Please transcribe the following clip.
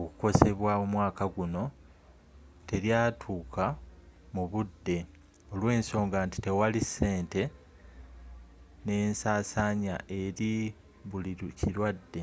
okukosebwa omwaka guno te lyatuka mu budde olwensonga nti tewali ssente n'ensasanya eri buli kilwadde